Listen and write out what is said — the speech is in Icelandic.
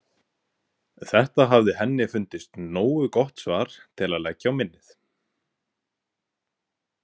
Þetta hafði henni fundist nógu gott svar til að leggja á minnið.